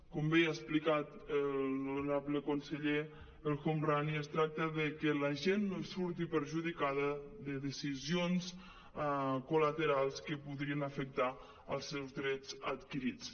com bé ja ha explicat l’honorable con·seller el homrani es tracta que la gent no surti perjudicada de decisions colaterals que podrien afectar els seus drets adquirits